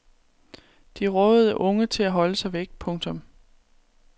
De rådede unge til at holde sig væk. punktum